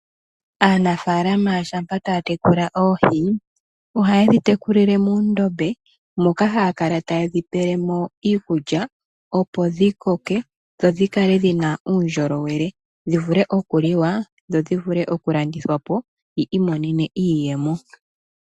Aanafalama shampa taya tekula oohi, ohaye dhi tekulile muundombe, moka haya kala taye dhi pelemo iikulya, opo dhikoke, dho dhikale dhina uundjolowele, dhivule okuliwa, dho dhivule okulandithwapo, yo yi imonenemo iiyemo.